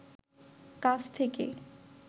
কাছ থেকে